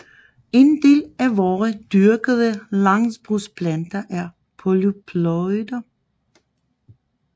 En del af vore dyrkede landbrugsplanter er polyploider